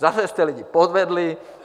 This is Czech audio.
Zase jste lidi podvedli.